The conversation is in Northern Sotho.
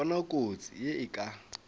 bona kotsi ye e ka